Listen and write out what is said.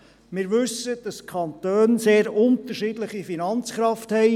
Wir wissen, dass die Kantone eine sehr unterschiedliche Finanzkraft haben.